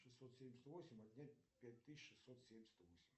шестьсот семьдесят восемь отнять пять тысяч шестьсот семьдесят восемь